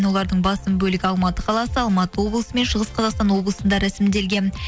олардың басым бөлігі алматы қаласы алматы облысы мен шығыс қазақстан облысында рәсімделген